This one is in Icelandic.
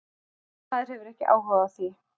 Nei, maður hefur ekki áhuga á því.